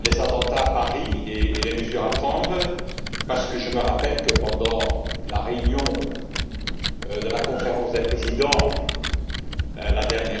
les attentats à Paris et les mesures à prendre, parce que je me rappelle que pendant la réunion de la Conférence des présidents, la dernière fois,